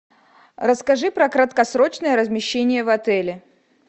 расскажи про краткосрочное размещение в отеле